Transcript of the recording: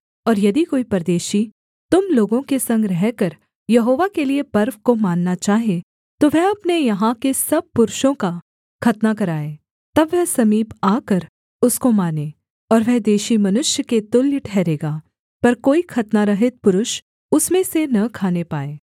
और यदि कोई परदेशी तुम लोगों के संग रहकर यहोवा के लिये पर्व को मानना चाहे तो वह अपने यहाँ के सब पुरुषों का खतना कराए तब वह समीप आकर उसको माने और वह देशी मनुष्य के तुल्य ठहरेगा पर कोई खतनारहित पुरुष उसमें से न खाने पाए